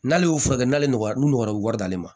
N'ale y'o furakɛ n'ale nɔgɔra n'u nɔgɔra wari d'ale ma